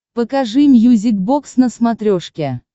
покажи мьюзик бокс на смотрешке